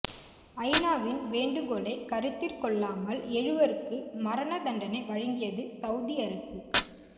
ஐநாவின் வேண்டுகோளை கருத்திற் கொள்ளாமல் எழுவருக்கு மரண தண்டனை வழங்கியது ஸவுதி அரசு